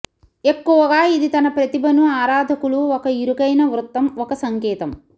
ఎక్కువగా ఇది తన ప్రతిభను ఆరాధకులు ఒక ఇరుకైన వృత్తం ఒక సంకేతం